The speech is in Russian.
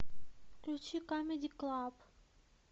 включи камеди клаб